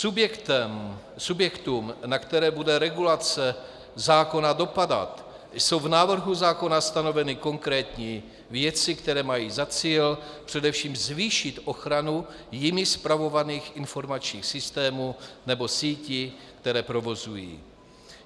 Subjektům, na které bude regulace zákona dopadat, jsou v návrhu zákona stanoveny konkrétní věci, které mají za cíl, především zvýšit ochranu jimi spravovaných informačních systémů nebo sítí, které provozují.